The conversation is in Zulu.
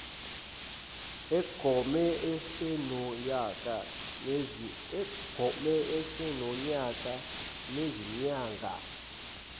agome esenonyaka nezinyanga